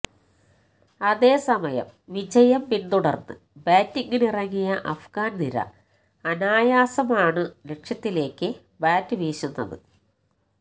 അതേ സമയം വിജയം പിന്തുടർന്ന് ബാറ്റിംഗിനിറങ്ങിയ അഫ്ഗാൻ നിര അനായാസമാണ് ലക്ഷ്യത്തിലേക്ക് ബാറ്റ് വീശുന്നത്